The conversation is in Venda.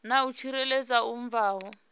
na u tsireledzea hu bvaho